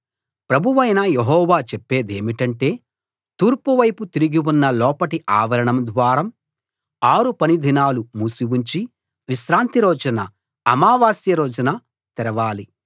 ప్రభువైన యెహోవా చెప్పేదేమిటంటే తూర్పు వైపు తిరిగి ఉన్న లోపటి ఆవరణద్వారం ఆరు పని దినాలు మూసి ఉంచి విశ్రాంతి రోజున అమావాస్య రోజున తెరవాలి